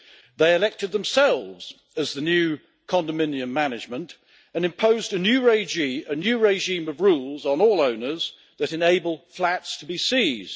They elected themselves as the new condominium management and imposed a new regime of rules on all owners that enable flats to be seized.